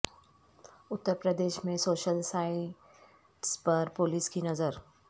اتر پردیش میں social sites پر police کی نظر